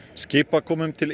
skipakomum til